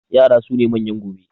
Yara su ne manyan gobe